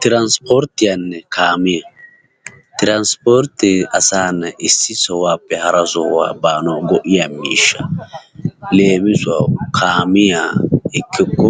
Tirasporttiyaanne kaamiya. Tirasporttee asaa na"ay issi sohuwappe hara sohuwa baanawu go'iya miishsha. leemisuwawu kaamiya ekkikko